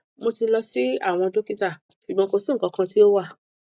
mo ti lọ si awọn dokita ṣugbọn ko si nkankan ti o wa